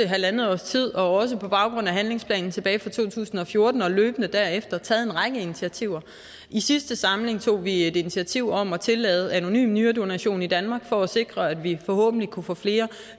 halvandet års tid og også på baggrund af handlingsplanen tilbage fra to tusind og fjorten og løbende derefter taget en række initiativer i sidste samling tog vi et initiativ om at tillade anonym nyredonation i danmark for at sikre at vi forhåbentlig kunne få flere